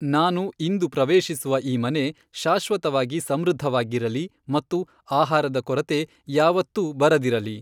ನಾನು ಇಂದು ಪ್ರವೇಶಿಸುವ ಈ ಮನೆ ಶಾಶ್ವತವಾಗಿ ಸಮೃದ್ಧವಾಗಿರಲಿ ಮತ್ತು ಆಹಾರದ ಕೊರತೆ ಯಾವತ್ತೂ ಬರದಿರಲಿ.